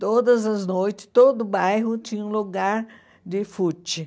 Todas as noites, todo o bairro tinha um lugar de footing.